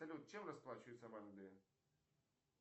салют чем расплачиваются в англии